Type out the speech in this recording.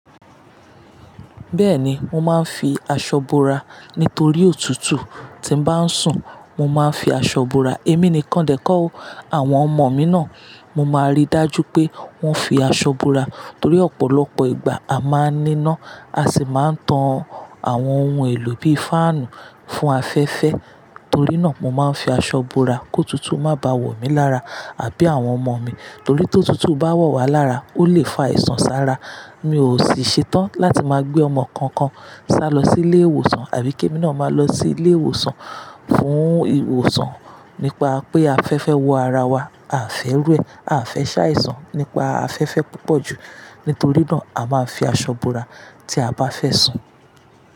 Bẹ́ẹ̀ni, mo máa ń fi aṣọ bora nítorí òtútù. Tí mo bá ń sùn, mo máa ń fi aṣọ bora. Èmi nìkan dẹ̀ kó o. Àwọn ọmọ mi náà, mo máa rí dájú pé wọ́n fi aṣọ bora. Torí ọ̀pọ̀lọpọ̀ ìgbà a máa ń níná, a sì máa ń tan àwọn ohun èlò bí i fáànù fún afẹ́fẹ́. Torí náà, mo máa ń fi aṣọ bora kó òtútù má bá à wọ̀ mí lára àbí àwọn ọmọ mi. Torí tí òtútù bá wọ̀ wá lára, ó lè fa àìsàn sára. Mi ò sì ṣetán láti máa gbé ọmọ kankan ṣá lọ sí ilé ìwòsàn àbí kí èmi náà máa lọ sí ilé ìwòsàn fún ìwòsàn nípa pé afẹ́fẹ́ wọ ara wa. A fẹ́ rú ẹ, a fẹ́ ṣàìsàn nípa afẹ́fẹ́ púpọ̀ jù. Nítorí náà, a máa ń fi aṣọ bora tí a bá fẹ́ sùn.